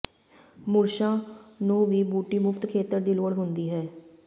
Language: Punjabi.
ਮੁਰਸ਼ਾਂ ਨੂੰ ਵੀ ਬੂਟੀ ਮੁਫ਼ਤ ਖੇਤਰ ਦੀ ਲੋੜ ਹੁੰਦੀ ਹੈ